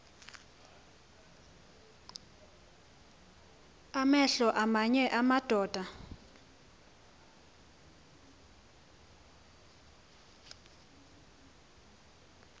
amehlo aamanye amadoda